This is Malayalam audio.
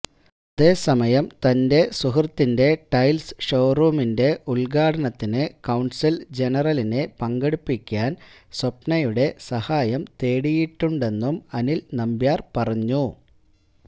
അതേസമയം തന്റെ സുഹൃത്തിന്റെ ടൈല്സ് ഷോറൂമിന്റെ ഉദ്ഘാടനത്തിന് കോണ്സുല് ജനറലിനെ പങ്കെടുപ്പിക്കാന് സ്വപ്നയുടെ സഹായം തേടിയിട്ടുണ്ടെന്നും അനില് നമ്പ്യാര് പറഞ്ഞു